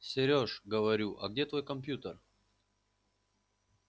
серёж говорю а где твой компьютер